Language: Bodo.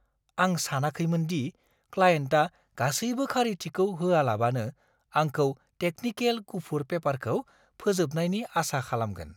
आं सानाखैमोनदि क्लायेन्टआ गासैबो खारिथिखौ होआलाबानो आंखौ टेकनिकेल गुफुर पेपारखौ फोजोबनायनि आसा खालामगोन।